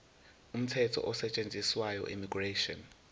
umthetho osetshenziswayo immigration